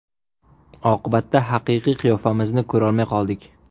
Oqibatda haqiqiy qiyofamizni ko‘rolmay qoldik.